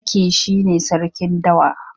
Zaki shi ne sarkin dawa.